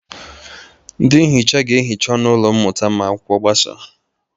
Ndị nhicha ga-ehicha ọnụ ụlọ mmụta ma akwụkwọ gbasa.